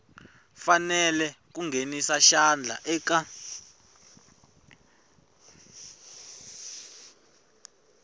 fanele ku nghenisa xandla eka